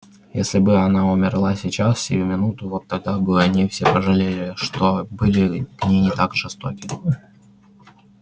если бы она умерла сейчас сию минуту вот тогда бы они все пожалели что были к ней так жестоки